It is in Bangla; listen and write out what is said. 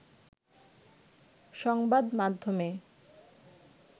সংবাদমাধ্যমে